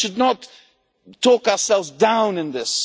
We should not talk ourselves down in this.